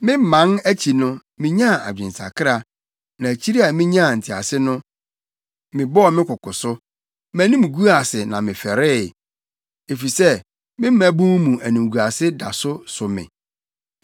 Meman akyi no, minyaa adwensakra; na akyiri a minyaa ntease no, mebɔɔ me koko so. Mʼanim guu ase na mefɛree, efisɛ me mmabun mu animguase da so so me.’